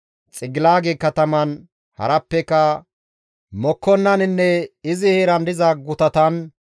Xigilaage kataman harappeka Mekoonnaninne izi heeran diza gutatan,